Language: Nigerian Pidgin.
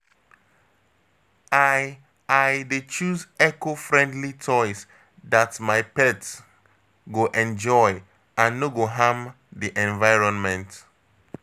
I I dey choose eco-friendly toys that my pet go enjoy and no go harm the environment.